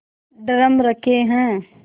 drum रखे हैं